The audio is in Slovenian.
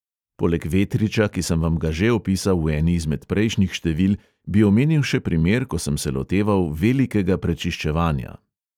Poleg vetriča, ki sem vam ga že opisal v eni izmed prejšnjih števil, bi omenil še primer, ko sem se loteval velikega prečiščevanja.